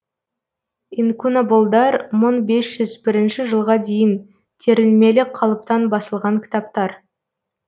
инкунаболдар мың бес жүз бірінші жылға дейін терілмелі қалыптан басылған кітаптар